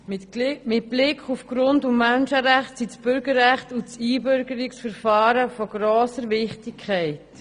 Mit Blick auf die Grund- und Menschenrechte sind das Bürgerrecht und das Einbürgerungsverfahren von grosser Wichtigkeit.